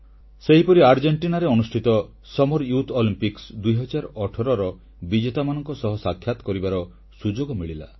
ସେହିପରି ଆର୍ଜେଣ୍ଟିନାରେ ଅନୁଷ୍ଠିତ ଗ୍ରୀଷ୍ମ ଯୁବ ଅଲିମ୍ପିକ୍ସ 2018ର ବିଜେତାମାନଙ୍କ ସହ ସାକ୍ଷାତ କରିବାର ସୁଯୋଗ ମିଳିଲା